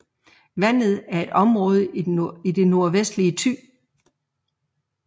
Vandet er et område i det nordvestlige Thy